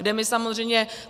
Kde my samozřejmě...